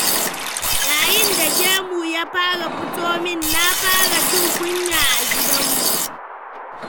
Yayin da gemu ya fara fito min, na fara jin kunya a gidnmu.